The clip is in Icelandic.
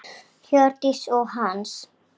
Hjördís og Hans.